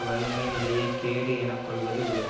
வறுமை நிலையை கேடு என கொள்வது உலகு